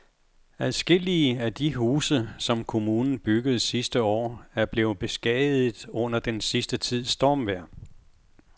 Adskillige af de huse, som kommunen byggede sidste år, er blevet beskadiget under den sidste tids stormvejr.